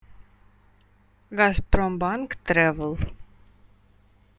газпромбанк трэвел